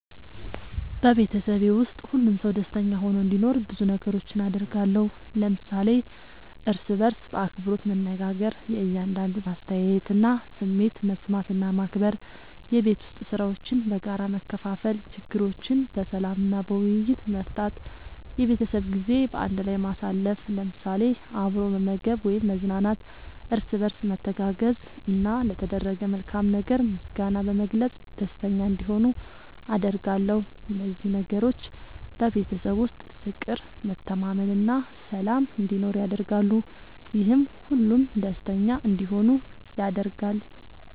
በቤተሰቤ ውስጥ ሁሉም ሰው ደስተኛ ሆኖ እንዲኖር ብዙ ነገሮችን አደርጋለሁ።። ለምሳሌ፦ እርስ በርስ በአክብሮት መነጋገር። የእያንዳንዱን አስተያየትና ስሜት መስማት እና ማክበር፣ የቤት ዉስጥ ሥራዎችን በጋራ መከፋፈል፣ ችግሮችን በሰላም እና በውይይት መፍታት፣ የቤተሰብ ጊዜ በአንድ ላይ ማሳለፍ ለምሳሌ፦ አብሮ መመገብ ወይም መዝናናት፣ እርስ በርስ መተጋገዝ፣ እና ለተደረገ መልካም ነገር ምስጋና በመግለጽ ደስተኛ እንዲሆኑ አደርጋለሁ። እነዚህ ነገሮች በቤተሰብ ውስጥ ፍቅር፣ መተማመን እና ሰላም እንዲኖር ያደርጋሉ፤ ይህም ሁሉም ደስተኛ እንዲሆኑ ያደርጋል።